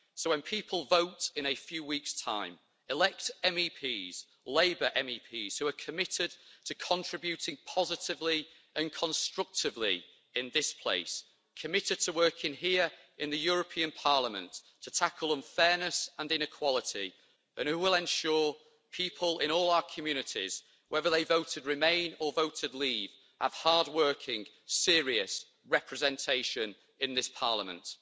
So when people vote in a few weeks' time, elect MEPs Labour MEPs who are committed to contributing positively and constructively in this place, committed to working here in the European Parliament to tackle unfairness and inequality, and who will ensure people in all our communities whether they voted remain or voted leave have hard-working, serious representation in this Parliament.